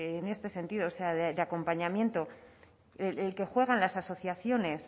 en este sentido o sea de acompañamiento el que juegan las asociaciones